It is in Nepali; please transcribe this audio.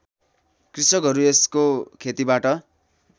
कृषकहरू यसको खेतीबाट